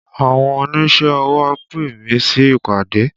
Àwọn oníṣẹ́ ọwọ pè mí sí ìpàdé